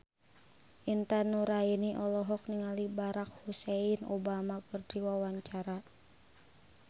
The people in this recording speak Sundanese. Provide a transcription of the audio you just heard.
Intan Nuraini olohok ningali Barack Hussein Obama keur diwawancara